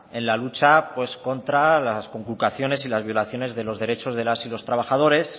en la lucha contra las conculcaciones y las violaciones de los derechos de las y los trabajadores